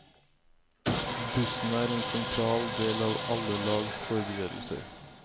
Bussen er en sentral del av alle lags forberedelser.